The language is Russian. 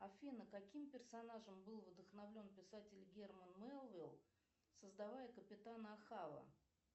афина каким персонажем был вдохновлен писать герман мелвилл создавая капитана ахава